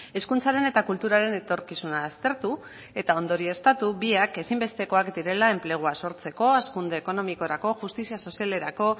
hezkuntzaren eta kulturaren etorkizuna aztertu eta ondorioztatu biak ezinbestekoak direla enplegua sortzeko hazkunde ekonomikorako justizia sozialerako